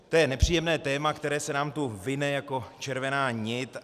To je nepříjemné téma, které se nám tu vine jako červená nit.